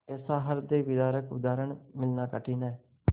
ऐसा हृदयविदारक उदाहरण मिलना कठिन है